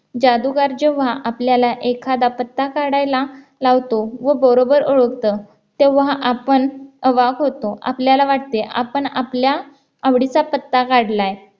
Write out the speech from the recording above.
जादूगार जेव्हा आपल्याला एखादा पत्ता काढायला लावतो व बरोबर ओळखतो तेव्हा आपण अवाक होतो आपल्याला वाटते आपण आपल्या आवडीचा पत्ता काढलाय